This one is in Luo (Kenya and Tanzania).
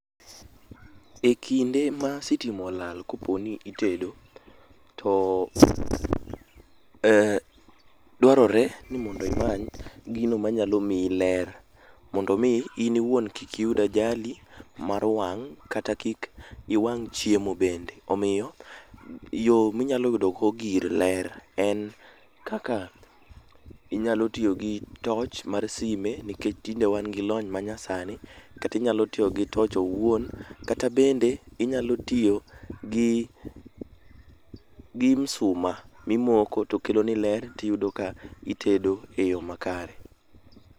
E kinde ma sitima olal koponi itedo, to dwaroere ni mondo imany gino manyalo mii ler mondo mii in iwuon kik iyud ajali mar wang' kata kik iwang' chiemo bende. Omio, yoo minyalo yudogo gir ler en kaka inyalo tio gi toch mar sime, nikech tinde wan gi lony manyasani, kata inyalo tio gi toch owuon, kata bende inyalo tio gi gi msuma mimoko to keloni ler tiyudo ka itedo e yoo makare.